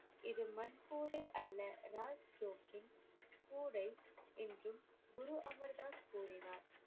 இது மண் கூடை அல்ல ராஜ் ஜோக்கின் கூடை என்றும் குரு அமர் தாஸ் கூறினார்.